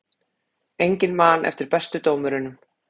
Enginn man eftir bestu dómurunum